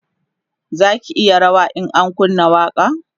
zaki yi rawa in an kunna waƙa